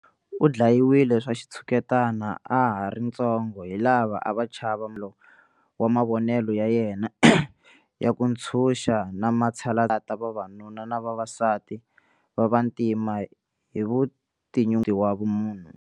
U dlayiwile swa xitshuketani a ha ri ntsongo hi lava a va chava wa mavonelo ya yena ya ku ntshuxa na matshalatshala ya vavanuna na vavasati va vantima hi vutinyungubyisi na vumunhu.